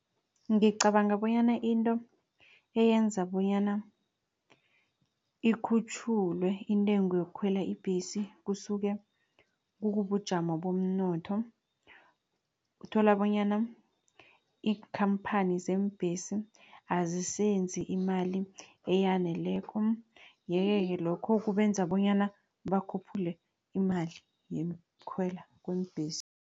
Ngicabanga bonyana into eyenza bonyana ikhutjhulwe intengo yokukhwela ibhesi, kusuke kubujamo bomnotho, uthola bonyana iinkhamphani zeembhesi azisenzi imali eyaneleko. Yeke-ke lokho kubenza bonyana bakhuphule imali yokukhwela kweembhesi.